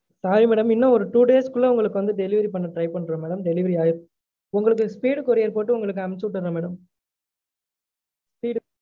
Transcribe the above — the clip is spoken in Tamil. Sorry madam இன்னும் ஒரு two days க்குள்ள உங்கலுக்கு வந்து delivery பன்ண try பண்ரொம் madam delivery ஆகிடும் உங்களுக்கு speed courier போட்டு உங்களுக்கு அனுப்பிச்சு விட்டுறொம் madam speed